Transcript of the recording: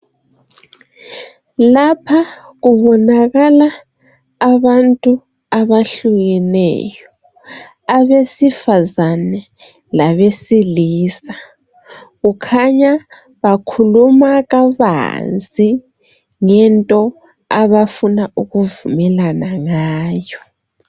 Lapha kubonakala abantu abehlukeneyo. Abesifazane labesilisa. Kukhanya bakhuluma kabanzi ngento abafuna ukuvumelana ngayo.